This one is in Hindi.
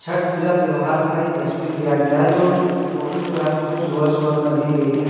छठ पूजा त्यौहार का ये तस्वीर लिया गया है जो फोटो जो है सो सुबह-सुबह का ली गई है।